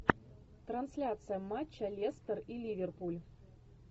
трансляция матча лестер и ливерпуль